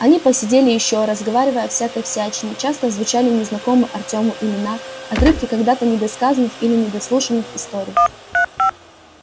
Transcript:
они посидели ещё разговаривая о всякой всячине часто звучали незнакомые артёму имена отрывки когда-то недосказанных или недослушанных историй